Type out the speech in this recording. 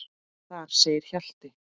Þar segir Hjalti